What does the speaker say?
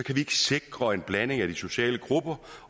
ikke sikre en blanding af de sociale grupper